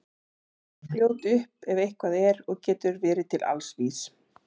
Eva er fljót upp ef eitthvað er og getur verið til alls vís.